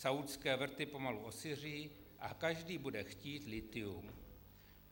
Saúdské vrty pomalu osiří a každý bude chtít lithium.